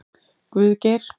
Guðgeir